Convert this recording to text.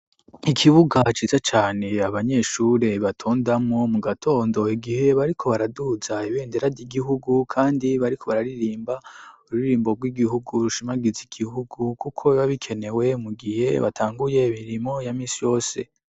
Ikibuga ciza cane abanyeshuri batondamwo mu gatondo igihe bariko baraduza ibendera ry'igihugu, kandi bariko bararirimba ururirimbo rw'igihugu rushimagiza igihugu, kuko biba bikenewe mu gihe batanguye imirimo ya misi yose.